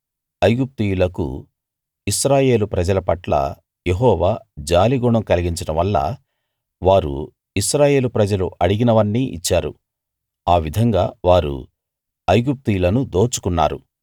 ఐగుప్తీయులకు ఇశ్రాయేలు ప్రజల పట్ల యెహోవా జాలి గుణం కలిగించడం వల్ల వారు ఇశ్రాయేలు ప్రజలు అడిగినవన్నీ ఇచ్చారు ఆ విధంగా వారు ఐగుప్తీయులను దోచుకున్నారు